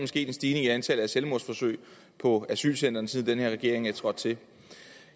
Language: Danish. sket en stigning i antallet af selvmordsforsøg på asylcentrene siden den her regering er trådt til